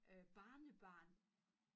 Øh barnebarn